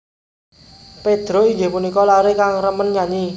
Pedro inggih punika laré kang remen nyanyi